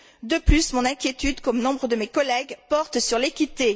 De plus, mon inquiétude, comme celle de nombre de mes collègues, porte sur l'équité.